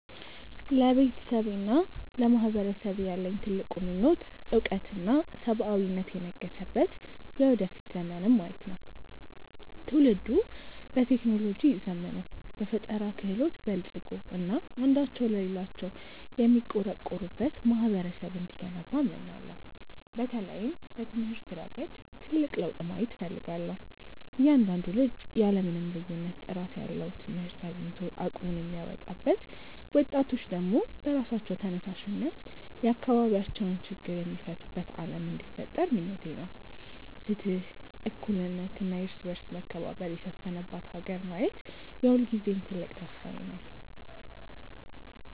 ለቤተሰቤና ለማህበረሰቤ ያለኝ ትልቁ ምኞት እውቀትና ሰብአዊነት የነገሰበት የወደፊት ዘመንን ማየት ነው። ትውልዱ በቴክኖሎጂ ዘምኖ፣ በፈጠራ ክህሎት በልፅጎ እና አንዳቸው ለሌላው የሚቆረቆሩበት ማህበረሰብ እንዲገነባ እመኛለሁ። በተለይም በትምህርት ረገድ ትልቅ ለውጥ ማየት እፈልጋለሁ፤ እያንዳንዱ ልጅ ያለ ምንም ልዩነት ጥራት ያለው ትምህርት አግኝቶ አቅሙን የሚያወጣበት፣ ወጣቶች ደግሞ በራሳቸው ተነሳሽነት የአካባቢያቸውን ችግር የሚፈቱበት ዓለም እንዲፈጠር ምኞቴ ነው። ፍትህ፣ እኩልነት እና የእርስ በርስ መከባበር የሰፈነባት ሀገር ማየት የሁልጊዜም ትልቅ ተስፋዬ ነው።